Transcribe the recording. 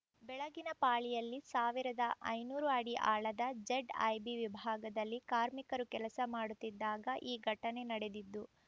ಬೆಳಗಿನ ಪಾಳಿಯಲ್ಲಿ ಸಾವಿರದ ಐನೂರು ಅಡಿ ಆಳದ ಝೆಡ್‌ಐಬಿ ವಿಭಾಗದಲ್ಲಿ ಕಾರ್ಮಿಕರು ಕೆಲಸ ಮಾಡುತ್ತಿದ್ದಾಗ ಈ ಘಟನೆ ನಡೆದಿದ್ದು